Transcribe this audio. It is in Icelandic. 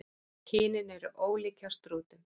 Kynin eru ólík hjá strútum.